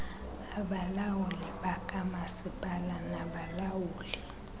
abalawuli bakamasipala nabalawuli